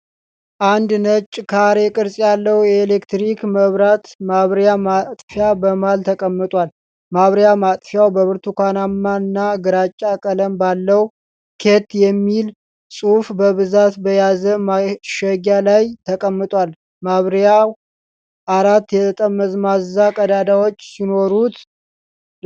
አንድ ነጭ ካሬ ቅርጽ ያለው የኤሌክትሪክ መብራት ማብሪያ / ማጥፊያ በመሃል ተቀምጧል። ማብሪያ / ማጥፊያው በብርቱካንማና ግራጫ ቀለም ባለው፣ "ኬት" የሚል ጽሑፍ በብዛት በያዘ ማሸጊያ ላይ ተቀምጧል። ማብሪያው አራት የጠመዝማዛ ቀዳዳዎች ሲኖሩት፣።